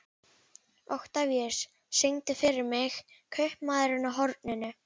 Oktavíus, syngdu fyrir mig „Kaupmaðurinn á horninu“.